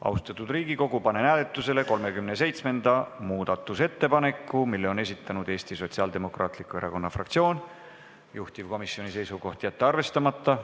Austatud Riigikogu, panen hääletusele 37. muudatusettepaneku, mille on esitanud Eesti Sotsiaaldemokraatliku Erakonna fraktsioon, juhtivkomisjoni seisukoht: jätta see arvestamata.